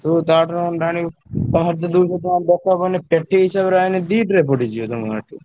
ତୁ ତା ଠାରୁ ଅଣ୍ଡା ଆଣିବୁ ବାହାରେ ଯଦି ବିକିବୁ ତାହେଲେ ଦରାକର ପଇଲେ ପେଟି ହିସାବରେ ଆଇଁଲେ ଦି tray ପଡିଯିବ ତମ ଏଠି।